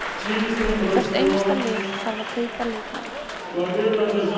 Hvert einasta lið þarf að kaupa leikmenn.